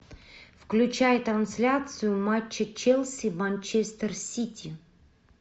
включай трансляцию матча челси манчестер сити